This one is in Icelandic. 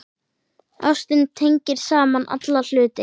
Ástin tengir saman alla hluti.